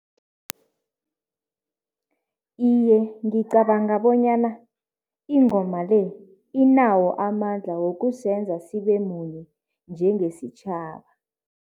Iye, ngicabanga bonyana ingoma le inawo amandla wokusenza sibe munye njengesitjhaba.